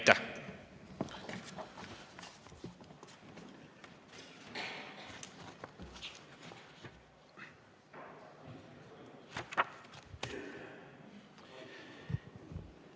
Aitäh!